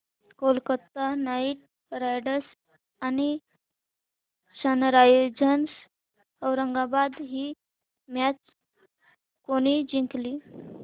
Kolkata Knight Riders आणि Sunrisers Hyderabad ही match कोणी जिंकली